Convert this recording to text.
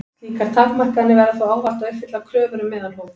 Slíkar takmarkanir verða þó ávallt að uppfylla kröfur um meðalhóf.